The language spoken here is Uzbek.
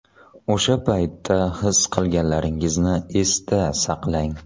O‘sha paytda his qilganlaringizni esda saqlang.